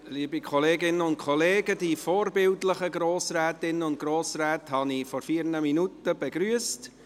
Liebe Kolleginnen und Kollegen, die vorbildlichen Grossrätinnen und Grossräte habe ich vor vier Minuten begrüsst.